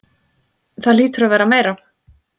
Það hlýtur að vera meira.